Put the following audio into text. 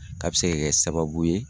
A bɛ se ka kɛ sababu ye.